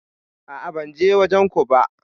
A'a ban je wajen ko ba.